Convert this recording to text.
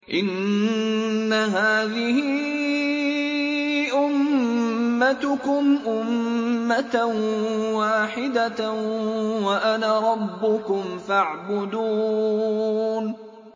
إِنَّ هَٰذِهِ أُمَّتُكُمْ أُمَّةً وَاحِدَةً وَأَنَا رَبُّكُمْ فَاعْبُدُونِ